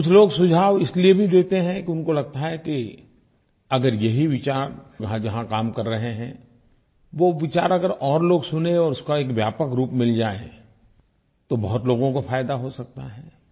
कुछ लोग सुझाव इसलिये भी देतें हैं कि उनको लगता है कि अगर यही विचार वहाँ जहाँ काम कर रहे हैं वो विचार अगर और लोग सुनें और उसका एक व्यापक रूप मिल जाए तो बहुत लोगों को फायदा हो सकता है